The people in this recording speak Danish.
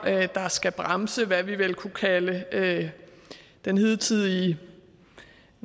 der skal bremse hvad vi vel kunne kalde den hidtidige